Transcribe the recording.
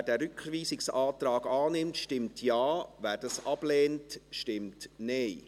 Wer diesen Rückweisungsantrag annimmt, stimmt Ja, wer diesen ablehnt, stimmt Nein.